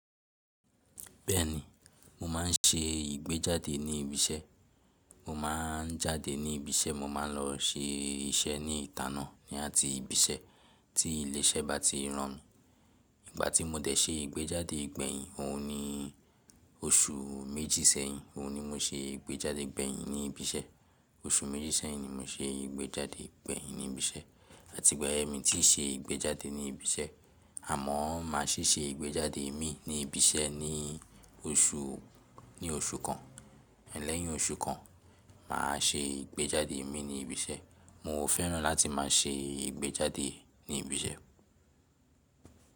Bẹ́ẹ̀ni, mo máa ń ṣe ìgbéjáde ní ibi iṣẹ́. Mo máa ń jáde ní ibi iṣẹ́, mo máa ń lọ ṣe iṣẹ́ ní ìta náà ní àti ibi iṣẹ́ tí ilé iṣẹ́ bá ti rán mi. Ìgbà tí mo dẹ̀ ṣe ìgbéjáde ìgbẹ̀yìn, òun ni oṣù méjì sẹ́yìn. Òun ni mo ṣe ìgbéjáde ìgbẹ̀yìn ní ibi iṣẹ́. Oṣù méjì sẹ́yìn ni mo ṣe ìgbéjáde ìgbẹ̀yìn ní ibi iṣẹ́. Àti ìgbà yẹn mi tí ṣe ìgbéjáde ní ibi iṣẹ́. Àmọ́ máa ṣì ṣe ìgbéjáde mi ní ibi iṣẹ́ ní oṣù, ní oṣù kan. Lẹ́yìn oṣù kan, màá ṣe ìgbéjáde mi ní ibi iṣẹ́. Mo ò fẹ́ràn láti máa ṣe ìgbéjáde ní ibi iṣẹ́.